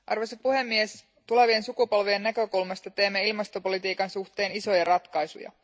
Arvoisa puhemies, tulevien sukupolvien näkökulmasta teemme ilmastopolitiikan suhteen isoja ratkaisuja.